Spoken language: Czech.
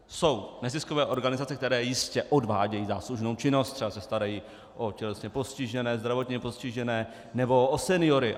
Jsou neziskové organizace, které jistě odvádějí záslužnou činnost, třeba se starají o tělesně postižené, zdravotně postižené nebo o seniory.